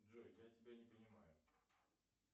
джой я тебя не понимаю